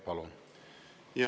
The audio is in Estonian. Palun!